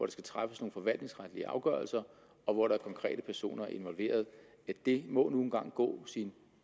skal træffes nogle forvaltningsretlige afgørelser og hvor der er konkrete personer involveret det må nu en gang gå sin